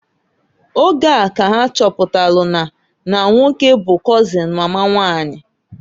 Oge a ka ha chọpụtalụ na na nwoke bu kọzịn mama nwanyị.